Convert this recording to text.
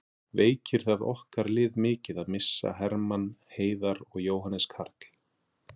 Veikir það okkar lið mikið að missa Hermann, Heiðar og Jóhannes Karl?